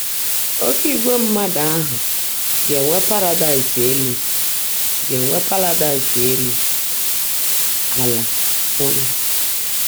“Oké ìgwè mmadụ” ahụ ga-enwe paradaịs elu ga-enwe paradaịs elu ala um